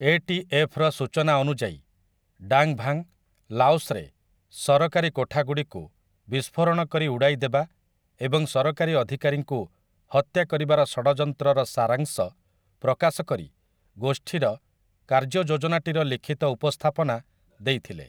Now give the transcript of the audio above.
ATF. ର ସୂଚନା ଅନୁଯାୟୀ, ଡାଙ୍ଗ୍ ଭାଙ୍ଗ୍, ଲାଓସ୍‌ରେ ସରକାରୀ କୋଠାଗୁଡ଼ିକୁ ବିସ୍ଫୋରଣ କରି ଉଡ଼ାଇ ଦେବା ଏବଂ ସରକାରୀ ଅଧିକାରୀଙ୍କୁ ହତ୍ୟା କରିବାର ଷଡ଼ଯନ୍ତ୍ରର ସାରାଂଶ ପ୍ରକାଶ କରି ଗୋଷ୍ଠୀର 'କାର୍ଯ୍ୟ ଯୋଜନା'ଟିର ଲିଖିତ ଉପସ୍ଥାପନା ଦେଇଥିଲେ ।